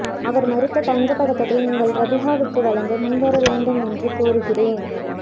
அவர் மறுத்த தங்கபதக்கத்தை நீங்கள் ரபீஹாவுக்கு வழங்க முன் வர வேண்டும் என்றும் கோருகிறேன்